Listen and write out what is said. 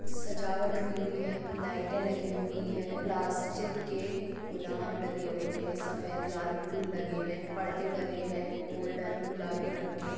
सजावट हुई है लाइट लगी हुई है प्लास्टिक के गुलाब लगे हुए है सफ़ेद लाल फूल लगे है पड़दे डाले है गोल्डन गुलाबी रंग के।